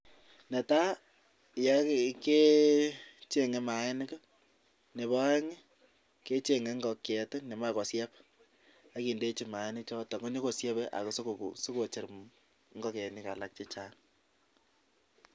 Netai kecheng'e maainik nebo oeng kecheng'e ngokiet nemoche kosieb ak indechi maanichoto konyokosiebe asikocher ngokenik alak che chang.